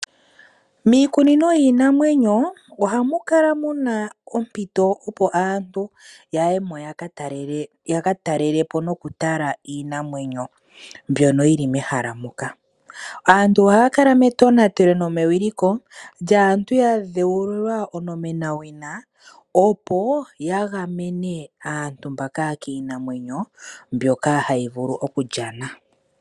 Miikunino yiinamwenyo ohamu kala muna ompito opo aantu yaye mo yaka talelepo nokutala iinamwenyo mbyono yili mehala moka. Aantu ohaa kala metonatelo nomewiliko lyaantu ya dhewulilwa owina, opo ya gamene aantu kiinamwenyo, mbyoka hayi vulu okulyana.